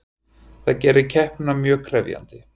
Það gerir keppnina mjög krefjandi